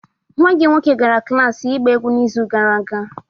nwa gị nwoke gara klas ịgba egwu n'izu gara aga